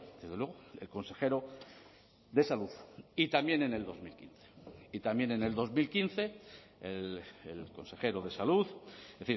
desde luego el consejero de salud y también en el dos mil quince y también en el dos mil quince el consejero de salud es